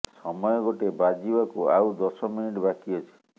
ସମୟ ଗୋଟେ ବାଜିବାକୁ ଆଉ ଦଶ ମିନିଟ ବାକି ଅଛି